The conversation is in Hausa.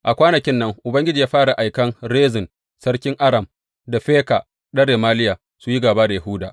A kwanakin nan Ubangiji ya fara aikan Rezin sarkin Aram da Feka ɗan Remaliya, su yi gāba da Yahuda.